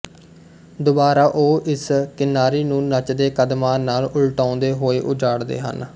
ਦੁਬਾਰਾ ਉਹ ਇਸ ਕਿਨਾਰੀ ਨੂੰ ਨੱਚਦੇ ਕਦਮਾਂ ਨਾਲ ਉਲਟਾਉਂਦੇ ਹੋਏ ਉਜਾੜਦੇ ਹਨ